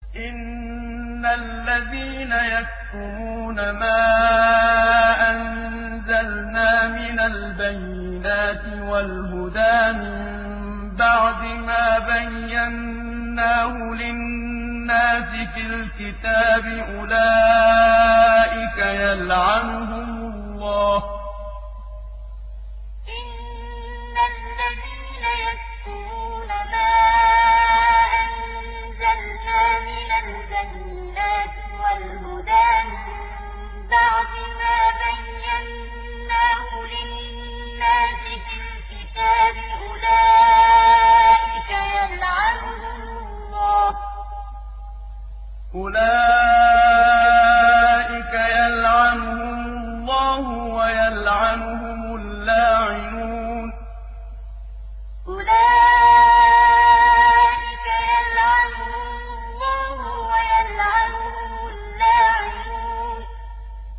إِنَّ الَّذِينَ يَكْتُمُونَ مَا أَنزَلْنَا مِنَ الْبَيِّنَاتِ وَالْهُدَىٰ مِن بَعْدِ مَا بَيَّنَّاهُ لِلنَّاسِ فِي الْكِتَابِ ۙ أُولَٰئِكَ يَلْعَنُهُمُ اللَّهُ وَيَلْعَنُهُمُ اللَّاعِنُونَ إِنَّ الَّذِينَ يَكْتُمُونَ مَا أَنزَلْنَا مِنَ الْبَيِّنَاتِ وَالْهُدَىٰ مِن بَعْدِ مَا بَيَّنَّاهُ لِلنَّاسِ فِي الْكِتَابِ ۙ أُولَٰئِكَ يَلْعَنُهُمُ اللَّهُ وَيَلْعَنُهُمُ اللَّاعِنُونَ